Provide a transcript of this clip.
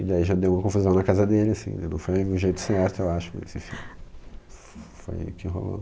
E daí já deu uma confusão na casa dele, assim, não foi o jeito certo, eu acho, mas enfim, foi o que rolou.